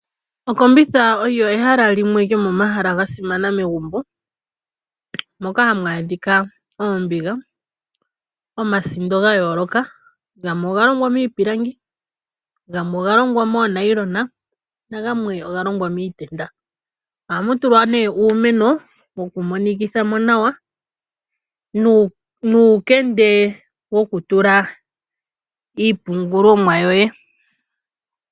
Okombitha olyo ehala limwe lyomomahala ga simana megumbo, moka hamu adhika oombiga, omasindo ga yooloka, gamwe oga longwa miipilangi, gamwe oga longwa moonayilona nagamwe oga longwa miitenda. Ohamu tulwa nee uumeno wokumonikitha mo nawa nuukende wokutula iipungulomwa yoye.